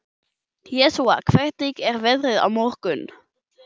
Jósúa, hvernig er veðrið á morgun?